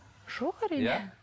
жоқ әрине